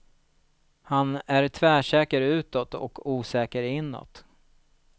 Han är tvärsäker utåt och osäker inåt.